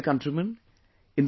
My dear countrymen,